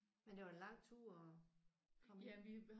Men det var en lang tur at komme ind?